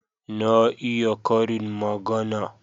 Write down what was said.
Na iya karin magana.